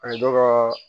A ye dɔ ka